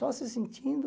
Só se sentindo...